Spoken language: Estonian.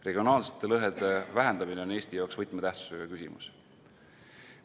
Regionaalsete lõhede vähendamine on Eesti jaoks võtmetähtsusega küsimus.